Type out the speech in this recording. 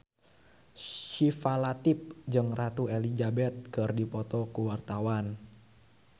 Syifa Latief jeung Ratu Elizabeth keur dipoto ku wartawan